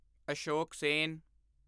Ashok Sen